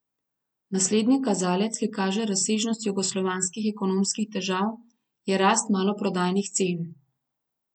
Naslednji kazalec, ki kaže razsežnost jugoslovanskih ekonomskih težav, je rast maloprodajnih cen.